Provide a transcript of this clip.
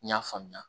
N y'a faamuya